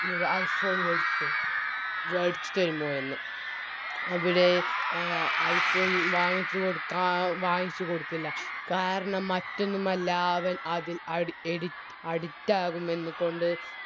ഒര് I phone വേടിച്ച് താരുഓ വേടിച്ച് തെരുമോയെന്ന് അവിടെ അഹ് I phone വാങ്ങിച്ചു കൊടുക്കാൻ വാങ്ങിച്ചു കൊടുത്തില്ല കാരണം മറ്റൊന്നുമല്ല അവൻ അതി അടി എഡി Addict ആകുമെന്ന് കൊണ്ട്